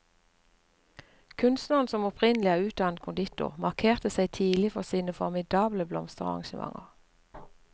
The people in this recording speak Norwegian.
Kunstneren som opprinnelig er utdannet konditor markerte seg tidlig for sine formidable blomsterarrangementer.